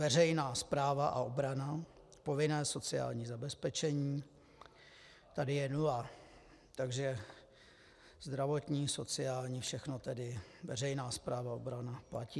Veřejná správa a obrana, povinné sociální zabezpečení, tady je nula, takže zdravotní, sociální, všechno tedy veřejná správa a obrana platí.